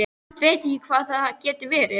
Samt veit ég ekki hvað það getur verið.